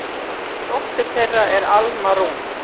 Dóttir þeirra er Alma Rún.